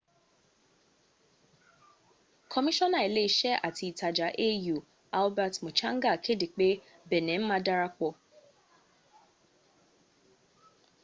kọmíṣọ́nà ilé iṣẹ́ àti ìtajà au albert muchanga kéde pé benin ma darapọ̀